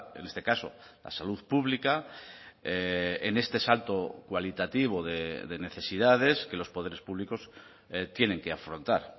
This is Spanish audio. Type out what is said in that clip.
en este caso la salud pública en este salto cualitativo de necesidades que los poderes públicos tienen que afrontar